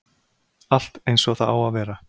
Allt eins og það á að vera